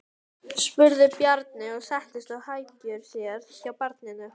Skúli Helgason: Hvað er að valda þessari tregðu í kerfinu?